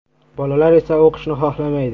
Bolalar esa o‘qishni xohlamaydi.